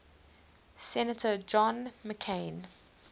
senator john mccain